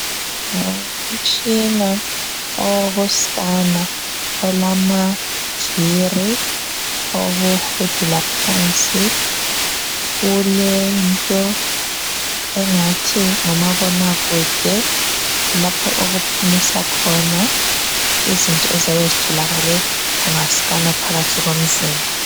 Ngumtshina owoku sikana olama viri owokuhudula phansi ulento engathi ngumabonakude lapho okuphumisa khona izinto eziyabe zitholakale unga sikana phakathi komzimba.